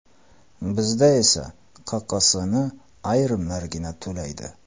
Bizda esa QQSni ayrimlargina to‘laydi.